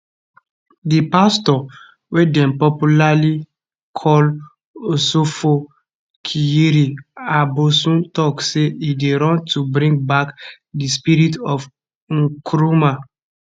di pastor wey dem dey popularly call osofo kyiri aboson tok say e dey run to bring back di spirit of nkrumah